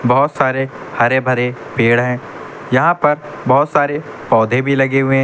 बहोत सारे हरे भरे पेड़ हैं। यहाँ पर बहुत सारे पौधे भी लगे हुए हैं।